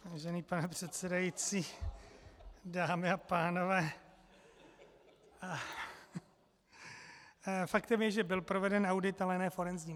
Vážený pane předsedající, dámy a pánové, faktem je, že byl proveden audit, ale ne forenzní.